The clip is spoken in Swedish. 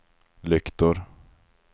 lyktor